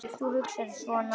Ef þú hugsar svona.